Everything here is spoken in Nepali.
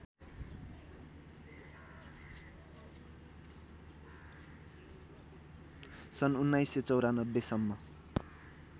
सन् १९९४ सम्म